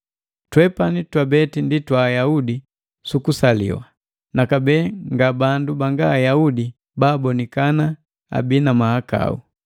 Twepani twabeti ndi twa Ayaudi su kusaliwa, nakabee nga bandu banga Ayaudi babonikana abii na mahakau.